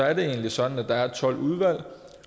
er det egentlig sådan at der er tolv udvalg